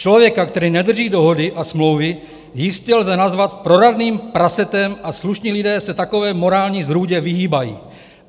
Člověka, který nedrží dohody a smlouvy, jistě lze nazvat proradným prasetem a slušní lidé se takové morální zrůdě vyhýbají.